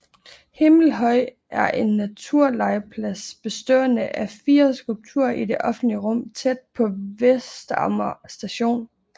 Himmelhøj er en naturlegeplads bestående af fire skulpturer i det offentlige rum tæt på Vestamager Station